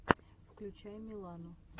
включай милану